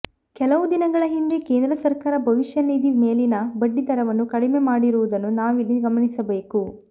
ಕೆಲವು ದಿನಗಳ ಹಿಂದೆ ಕೇಂದ್ರ ಸರ್ಕಾರ ಭವಿಷ್ಯ ನಿಧಿ ಮೇಲಿನ ಬಡ್ಡಿ ದರವನ್ನು ಕಡಿಮೆ ಮಾಡಿರುವುದನ್ನು ನಾವಿಲ್ಲಿ ಗಮನಿಸಬೇಕು